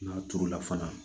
N'a turu la fana